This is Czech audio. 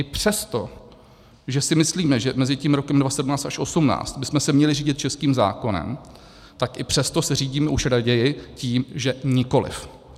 I přesto, že si myslíme, že mezi tím rokem 2017 až 2018 bychom se měli řídit českým zákonem, tak i přesto se řídíme už raději tím, že nikoliv.